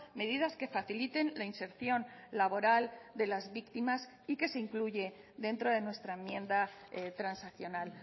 medidas que faciliten la inserción laboral de las víctimas y que se incluye dentro de nuestra enmienda transaccional